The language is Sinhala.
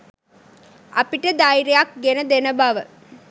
අපිට ධෛර්යයක් ගෙන දෙන බව